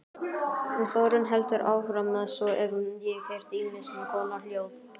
Þórunn heldur áfram:- Svo hef ég heyrt ýmiss konar hljóð.